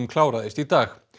kláraðist í dag